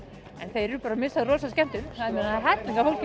þeir eru bara að missa af rosa skemmtun ég það er hellingur af fólki